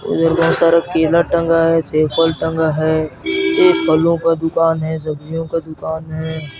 उधर बहुत सारा केला टंगा है सेब फल टंगा है यह फलो का दुकान है सब्जियों का दुकान है।